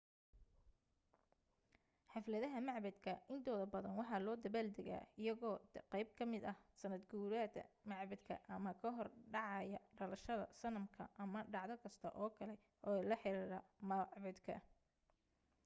xafladaha macbaddka intooda badan waxa loo dabbaal degaa iyagoo qayb ka ah sannadguurada macbadka ama ka hor dhacaya dhalashada sanamka ama dhacdo kasta oo kale ee la xiriirta macbadka